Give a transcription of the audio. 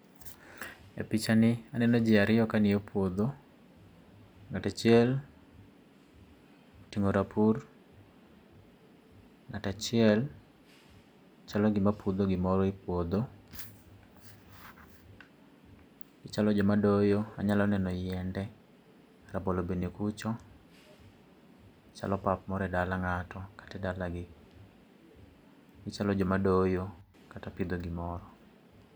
E picha ni aneno ji ariyo ka ngiyo puodho, ng'at achiel otingo rapur, ng'at achiel chalo gi ma pudho gi moro e puodho. Chalo jo ma doyo anyalo neno yiende, rabolo be ni kucho chalo pap moro e dala ng'ato kata e dalani gi chalo jo ma doyo kata pidho gi moro.